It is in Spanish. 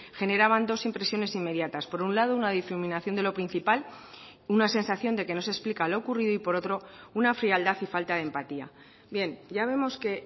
generaban dos impresiones inmediatas por un lado una difuminación de lo principal una sensación de que no se explica lo ocurrido y por otro una frialdad y falta de empatía bien ya vemos que